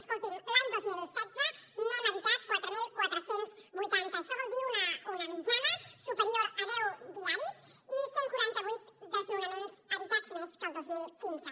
escolti’m l’any dos mil setze n’hem evitat quatre mil quatre cents i vuitanta això vol dir una mitjana superior a deu diaris i cent i quaranta vuit desnonaments evitats més que el dos mil quinze